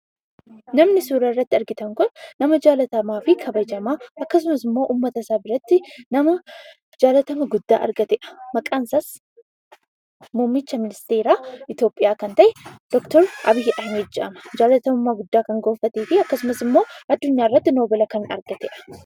Namni isin suuraa irratti argitan kun nama jaallatamaa fi kabajamaa, akkasumas immoo ummata isaa biratti nama jaallatama guddaa argateedha. Maqaan isaas, muummicha ministeeraa Itoophiyaa kan ta'e Dr Abiy Ahmad jedhama. Jaallatamummaa guddaa kan gonfatee fi akkasumas immoo addunyaa irratti noobela kan argateedha.